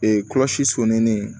kɔlɔsi sominen